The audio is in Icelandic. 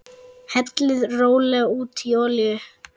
Hellið rólega út í olíu.